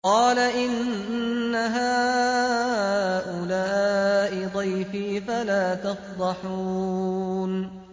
قَالَ إِنَّ هَٰؤُلَاءِ ضَيْفِي فَلَا تَفْضَحُونِ